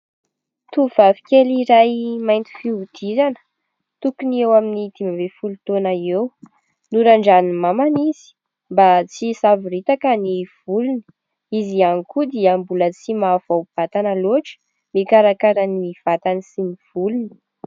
Tovovavy kely iray mainty fihodirana tokony eo amin'ny dimy ambin'ny folo taona eo. Norandranan'i mamana izy mba tsy isavoritaka ny volony. Izy ihany koa dia mbola tsy mahavao-batana loatra ikarakara ny vatany sy ny volony.